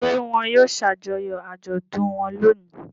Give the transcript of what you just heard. Ṣé wọn yóò ṣàjọyọ̀ àjọ̀dún wọn lónìí?